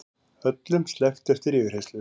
Öllum sleppt eftir yfirheyrslu